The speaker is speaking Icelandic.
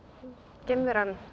geimveran